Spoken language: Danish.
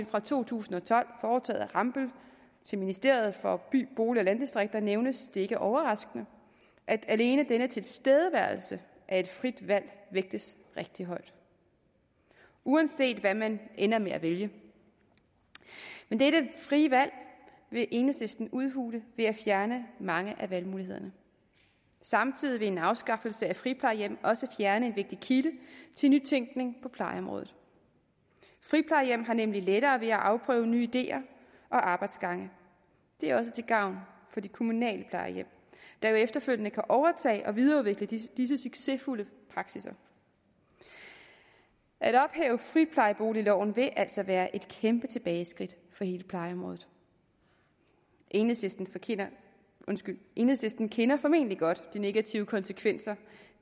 fra to tusind og tolv foretaget af rambøll til ministeriet for by bolig og landdistrikter nævnes det ikke overraskende at alene denne tilstedeværelse af et frit valg vægtes rigtig højt uanset hvad man ender med at vælge men dette frie valg vil enhedslisten udhule ved at fjerne mange af valgmulighederne samtidig vil en afskaffelse af friplejehjem også fjerne en vigtig kilde til nytænkning på plejeområdet friplejehjem har nemlig lettere ved at afprøve nye ideer og arbejdsgange det er også til gavn for de kommunale plejehjem der jo efterfølgende kan overtage og videreudvikle disse disse succesfulde praksisser at ophæve friplejeboligloven vil altså være et kæmpe tilbageskridt for hele plejeområdet enhedslisten enhedslisten kender formentlig godt de negative konsekvenser